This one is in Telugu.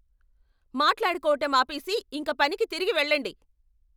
మాట్లాడుకోవటం ఆపేసి ఇంక పనికి తిరిగి వెళ్ళండి.